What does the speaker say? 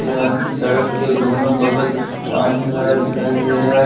की सड़क के दोनों बगल पानी भरा दिखाई दे रहा है।